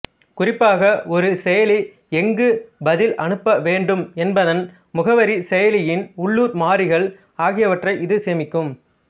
குறிப்பாக ஒரு செயலி எங்கு பதில் அனுப்ப வேண்டும் என்பதன் முகவரி செயலியின் உள்ளூர் மாறிகள் ஆகியவற்றை இது சேமிக்கும்